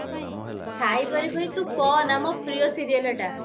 ଛାଇ ପରି ମାନେ ତୁ କହନା ମୋ ପ୍ରିୟ serial ଏଟା